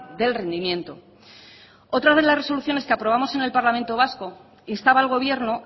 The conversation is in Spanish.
del rendimiento otra de las resoluciones que aprobamos en el parlamento vasco instaba al gobierno